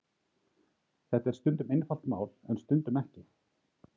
þetta er stundum einfalt mál en stundum ekki